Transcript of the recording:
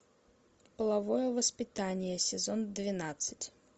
половое воспитание сезон двенадцать